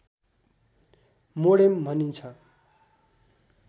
modem भनिन्छ